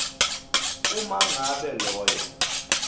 uma ngabe loyo